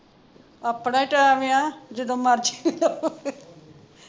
ਆਪਣਾ ਹੀ ਟੈਮ ਆ ਜਦੋਂ ਮਰਜੀ